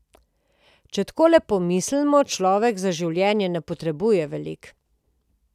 Če takole pomislimo, človek za življenje ne potrebuje veliko.